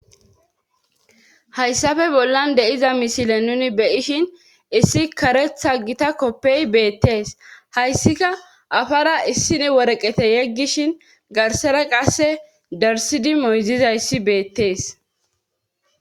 hayssafe bollan de7iza misile nuni beyishin issi karetha gita koppey beettees hayssika afara issini woreqete yeggishin garsara qasse darsidi moyzizayssi beettees